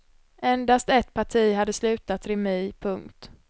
Endast ett parti hade slutat remi. punkt